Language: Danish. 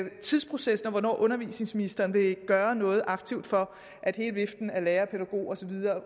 tidsprocessen og hvornår undervisningsministeren vil gøre noget aktivt for at hele viften af lærere pædagoger og så videre